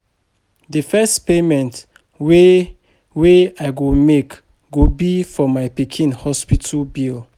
The first payment wey wey I go make go be for my pikin hospital bill